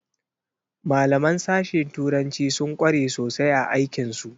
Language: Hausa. Malaman sashe turanci sun kware sosai a aikin su.